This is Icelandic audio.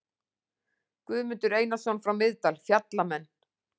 Guðmundur Einarsson frá Miðdal, Fjallamenn.